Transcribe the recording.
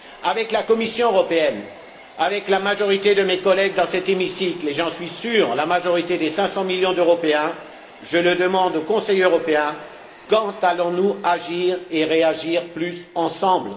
Avec la Commission européenne, avec la majorité de mes collègues dans cet hémicycle et, j'en suis sûr, la majorité des cinq cent millions d'Européens, je le demande au Conseil européen quand allons nous agir et réagir davantage ensemble?